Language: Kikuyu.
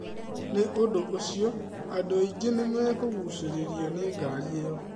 Nĩ ũndũ ũcio, andũ aingĩ nĩ nĩ mekũgucĩrĩrio nĩ ngari ĩyo.